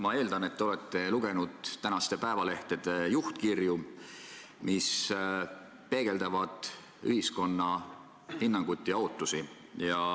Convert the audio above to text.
Ma eeldan, et te olete lugenud tänaste päevalehtede juhtkirju, mis peegeldavad ühiskonna hinnangut ja ootusi.